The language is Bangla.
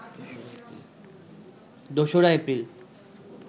দোসরা এপ্রিল